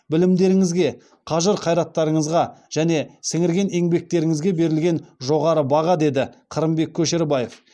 білімдеріңізге қажыр қайраттарыңызға және сіңірген еңбектеріңізге берілген жоғары баға деді қырымбек көшербаев